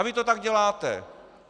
A vy to tak děláte.